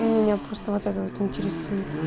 меня просто вот это вот интересует